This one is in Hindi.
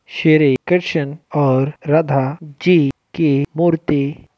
श्री कृष्ण और राधा जी की मूर्ति--